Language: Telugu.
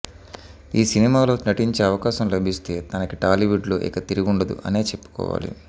ఈ సినిమా లో నటించే అవకాశం లభిస్తే తనకి టాలీవుడ్ లో ఇక తిరుగుండదు అనే చెప్పుకోవాలి